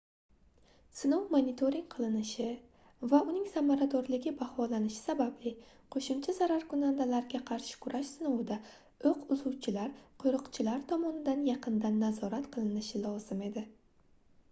sinov monitoring qilinishi va uning samaradorligi baholanishi sababli qoʻshimcha zararkunandalarga qarshi kurash sinovida oʻq uzuvchilar qoʻriqchilar tomonidan yaqindan nazorat qilinishi lozim edi